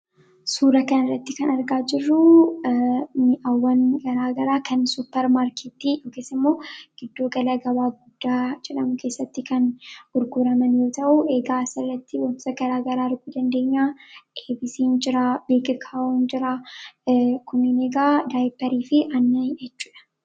suura kan irratti kan argaa jirruu ni'awwan garaagaraa kan suppermaarkitti dhoges imoo gidduu gala gabaa guddaa jedhamu keessatti kan urguraman yoo ta'u eegaa asarratti bonsa garaa garaa arguu dandeenyaa absn jiraa biikkawuun jiraa kominigaa daa'iparii fi anni echuda